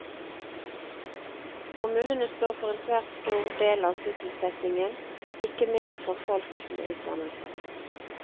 Kommunene står for en svært stor del av sysselsettingen, ikke minst for folk med utdannelse.